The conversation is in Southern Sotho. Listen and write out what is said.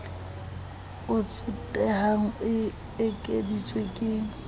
o tsotehang e ekeditswe ke